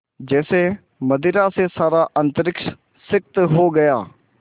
जैसे मदिरा से सारा अंतरिक्ष सिक्त हो गया